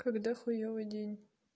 когда хуевый день